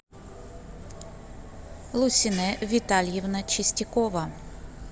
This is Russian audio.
лусинэ витальевна чистякова